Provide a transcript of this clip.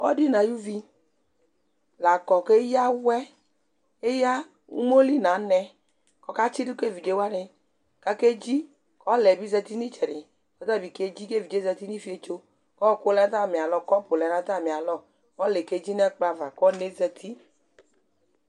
ɔdi nʋ ayʋvi lakɔ kʋ ɛya awɛ iya ʋmɔli nʋ anɛ kʋ ɔkatsi dʋ ka ɛvidzɛ wani kʋ akɛ dzi, ɔlaɛ bi zati nʋ itsɛdi kʋ ɔtabi kɛ dzi kʋ ɛvidzɛ zatinʋ iƒiɛtsɔ, ɔkʋ lɛnʋ atami alɔ cʋp lɛnʋ atami alɔ, ɔlaɛ kɛ dzi nʋ ɛkplɔ aɣa kʋ ɔnaɛ zati